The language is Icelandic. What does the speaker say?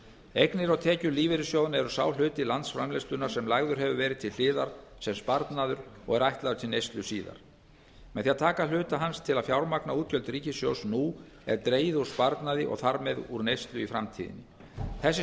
eignir og tekjur lífeyrissjóðanna eru sá hluti landsframleiðslunnar sem lagður hefur verið til hliðar sem sparnaður og er ætlaður til neyslu síðar með því að taka hluta hans til að fjármagna útgjöld ríkissjóðs nú er dregið úr sparnaði og þar með úr neyslu í framtíðinni þessi